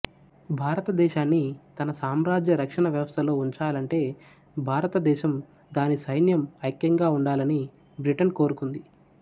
భారతదేశాన్ని తన సామ్రాజ్య రక్షణ వ్యవస్థలో ఉంచాలంటే భారతదేశం దాని సైన్యం ఐక్యంగా ఉండాలని బ్రిటన్ కోరుకుంది